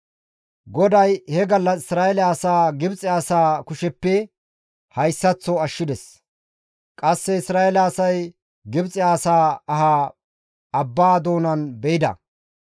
GODAY he gallas Isra7eele asaa Gibxe asaa kusheppe hayssaththo ashshides. Qasse Isra7eele asay Gibxe asaa aha abba doonan be7ides.